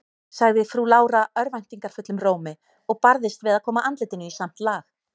sagði frú Lára örvæntingarfullum rómi, og barðist við að koma andlitinu í samt lag.